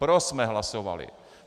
Pro jsme hlasovali.